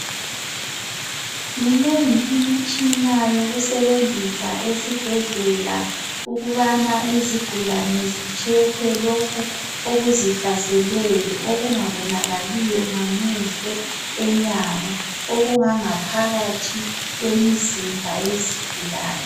Minengi imitshina yokusebenzisa esibhedlela ukubana izigulane zitshekhwe lokhu okuzihlaseleyo okungabonakaliyo ngamehlo enyama okungangaphakathi kwemizimba yezigulane